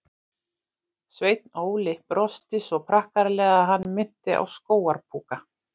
Sveinn Óli brosti svo prakkaralega að hann minnti á skógar púka.